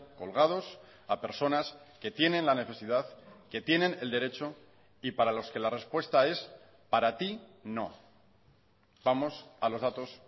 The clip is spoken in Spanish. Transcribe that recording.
colgados a personas que tienen la necesidad que tienen el derecho y para los que la respuesta es para ti no vamos a los datos